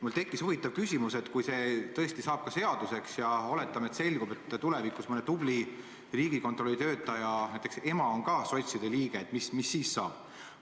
Mul tekkis huvitav küsimus: kui see eelnõu saab seaduseks ja oletame, et tulevikus selgub, et mõne tubli Riigikontrolli töötaja ema näiteks on sots, mis siis saab?